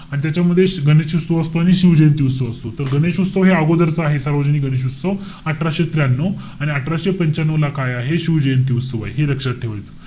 आणि त्याच्यामध्ये गणेश उत्सव असतो आणि शिव जयंती उत्सव असतो. तर गणेश उत्सव हे अगोदरच आहे. सार्वजनिक गणेश उत्सव, अठराशे त्र्यानऊ. आणि अठराशे पंच्यानऊ ला काय आहे? शिव जयंती उत्सव आहे. हे लक्षात ठेवायचंय.